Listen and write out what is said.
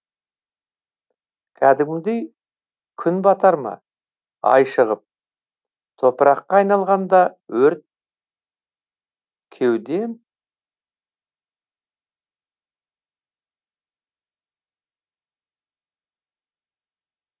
кәдімгідей күн батар ма ай шығып топыраққа айналғанда өрт кеудем